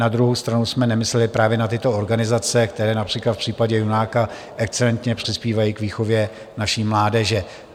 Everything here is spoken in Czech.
Na druhou stranu jsme nemysleli právě na tyto organizace, které například v případě Junáka excelentně přispívají k výchově naší mládeže.